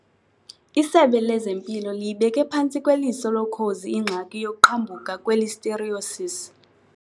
ISebe lezeMpilo liyibeke phantsi kweliso lokhozi ingxaki yokuqhambuka kwe-Listeriosis.